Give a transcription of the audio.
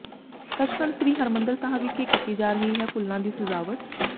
ਸੱਚਖੰਡ ਸ੍ਰੀ ਹਰਿਮੰਦਰ ਸਾਹਿਬ ਵਿਖੇ ਕੀਤੀ ਜਾ ਰਹੀ ਹੈ ਫੁੱਲਾਂ ਦੀ ਸਜ਼ਾਵਟ